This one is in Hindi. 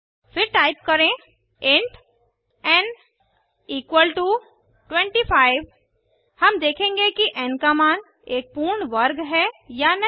फिर टाइप करें इंट एन 25 हम देखेंगे कि एन का मान एक पूर्ण वर्ग है या नहीं